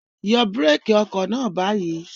Yọ búrékì ọkọ̀ náà báyìí!